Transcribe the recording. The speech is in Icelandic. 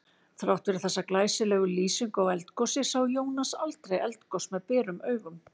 Þrátt fyrir þessa glæsilegu lýsingu á eldgosi sá Jónas aldrei eldgos með berum augum.